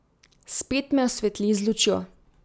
Spet me osvetli z lučjo.